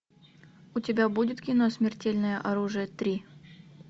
у тебя будет кино смертельное оружие три